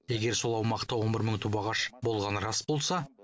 егер сол аумақта он бір мың түп ағаш болғаны рас болса